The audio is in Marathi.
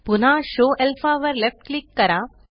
पुन्हा शो अल्फा वर लेफ्ट क्लिक करा